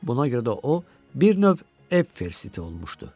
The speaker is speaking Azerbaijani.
Buna görə də o, bir növ ev ferziti olmuşdu.